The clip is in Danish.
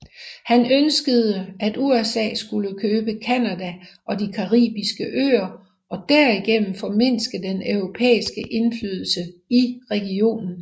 Han ønskede at USA skulle købe Canada og de caribiske øer og derigennem formindske den europæiske indflydelse i regionen